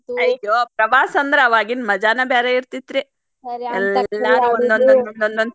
ಅಯ್ಯೋ ಪ್ರವಾಸ ಅಂದ್ರ್ ಆವಾಗಿನ ಮಜಾನ ಬ್ಯಾರೆ ಇರ್ತೀತ್ರಿ.